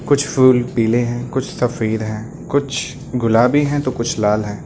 कुछ फूल पीले हैं कुछ सफेद हैं कुछ गुलाबी हैं तो कुछ लाल हैं।